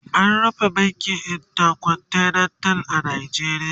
an rufe bankin intercontinental a Najeriya